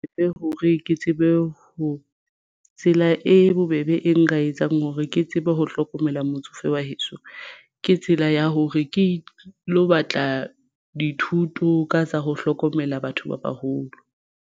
Hore ke tsebe ho tsela e bobebe e nka etsang hore ke tsebe ho hlokomela motsofe wa heso ke tsela ya hore ke lo batla dithuto ka tsa ho hlokomela batho ba baholo.